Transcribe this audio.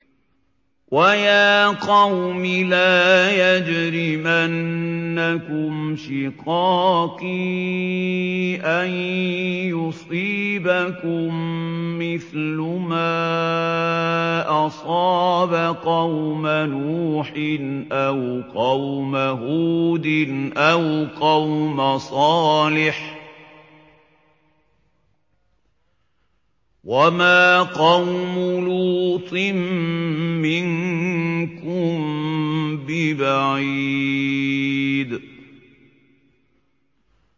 وَيَا قَوْمِ لَا يَجْرِمَنَّكُمْ شِقَاقِي أَن يُصِيبَكُم مِّثْلُ مَا أَصَابَ قَوْمَ نُوحٍ أَوْ قَوْمَ هُودٍ أَوْ قَوْمَ صَالِحٍ ۚ وَمَا قَوْمُ لُوطٍ مِّنكُم بِبَعِيدٍ